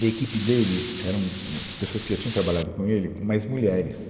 E a equipe dele eram, um, pessoas que já tinham trabalhado com ele, mas mulheres.